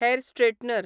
hair straightener